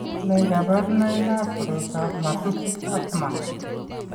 Nee kabarunoikab koroitoab McKusick Kaufman?